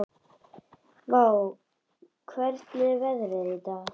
Vár, hvernig er veðrið í dag?